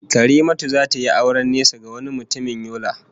Karimatu will marry a man from far away Yola